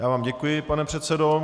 Já vám děkuji, pane předsedo.